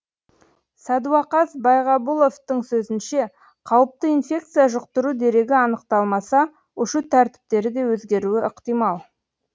сәдуақас байғабұловтың сөзінше қауіпті инфекция жұқтыру дерегі анықталмаса ұшу тәртіптері де өзгеруі ықтимал